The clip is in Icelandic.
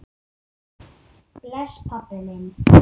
Bless, pabbi minn.